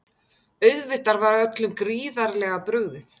Auðvitað var öllum gríðarlega brugðið